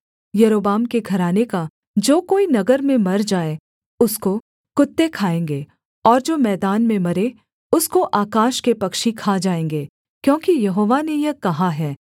यारोबाम के घराने का जो कोई नगर में मर जाए उसको कुत्ते खाएँगे और जो मैदान में मरे उसको आकाश के पक्षी खा जाएँगे क्योंकि यहोवा ने यह कहा है